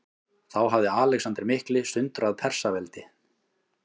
Þá hafði Alexander mikli sundrað Persaveldi.